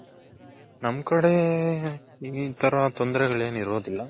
ನಮ್ ಕಡೆ ಇಲ್ಲಿಂಥರ ತೊಂದರೆಗಳೇನು ಇರೋದಿಲ್ಲಾ.